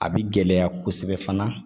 A bi gɛlɛya kosɛbɛ fana